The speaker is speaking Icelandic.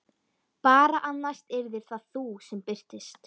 Bara að næst yrðir það þú sem birtist.